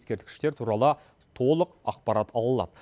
ескерткіштер туралы толық ақпарат ала алады